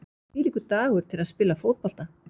Þvílíkur dagur til að spila fótbolta!